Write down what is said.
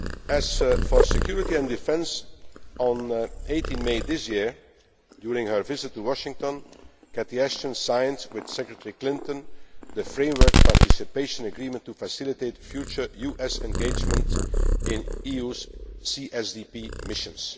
more. As for security and defence, on 18 May this year, during her visit to Washington, Catherine Ashton signed with Secretary Clinton the Framework Participation Agreement to facilitate future US engagement in the EU's CSDP missions.